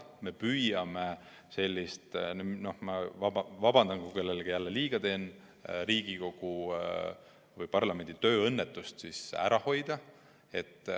Me püüame sellist – ma vabandan, kui kellelegi jälle liiga teen – Riigikogu või parlamendi tööõnnetust ära hoida.